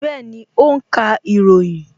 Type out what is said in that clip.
Bẹẹni, ó ń ka ìròyìn